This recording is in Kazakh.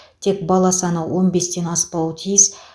тек бала саны он бестен аспауы тиіс